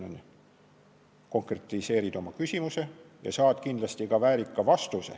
Siis sina konkretiseerid oma küsimust ja saad kindlasti väärika vastuse.